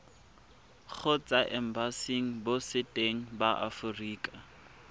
kgotsa embasing botseteng ba aforika